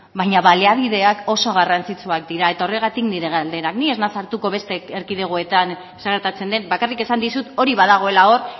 baina baliabideak oso garrantzitsuak dira eta horregatik nire galdera ni ez naiz sartuko beste erkidegoetan zer gertatzen den bakarrik esan dizut hori badagoela hori